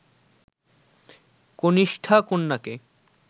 কনিষ্ঠা কন্যাকে